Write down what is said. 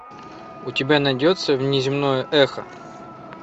у тебя найдется внеземное эхо